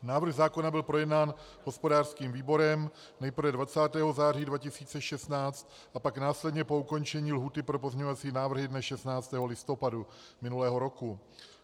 Návrh zákona byl projednán hospodářským výborem nejprve 20. září 2016 a pak následně po ukončení lhůty pro pozměňovací návrhy dne 16. listopadu minulého roku.